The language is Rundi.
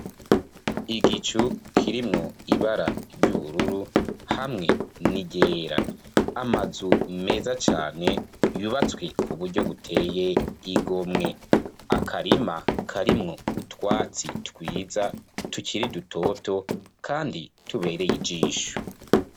Igicu kirimwo ibara ry'ubururu hamwe niryera amazu meza cane yubatswe ku buryo buteye igomwe akarima karimwo utwatsi twiza tukiri dutoto, kandi tubereye ijisho